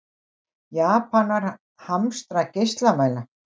Japanar hamstra geislamæla